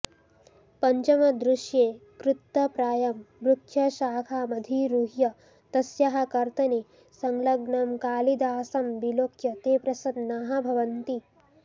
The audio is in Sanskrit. पञ्चमदृश्ये कृत्तप्रायां वृक्षशाखामधिरुह्य तस्याः कर्तने संलग्नं कालिदासं विलोक्य ते प्रसन्नाः भवन्ति